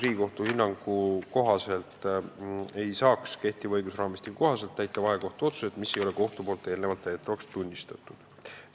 Riigikohtu toonase lahendi kohaselt ei tohiks täita vahekohtu otsuseid, mida kohus ei ole täidetavaks tunnistatud.